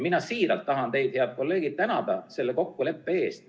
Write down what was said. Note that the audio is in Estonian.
Mina tahan siiralt teid, head kolleegid, tänada selle kokkuleppe eest.